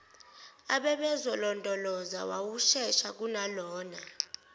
ababezolondoloza wawushesha kunalona